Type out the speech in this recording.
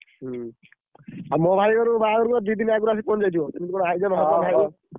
ହୁଁ, ଆଉ ମୋ ଭାଇ ବାହାଘରକୁ ଦି ଦିନ ଆଗରୁ ଆସିକିପହଁଚି ଯାଇଥିବ କେମିତି କଣ ଆୟୋଜନ ହବ ନାହି?